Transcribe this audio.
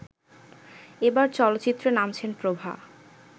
এবার চলচ্চিত্রে নামছেন প্রভা